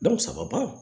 saba ban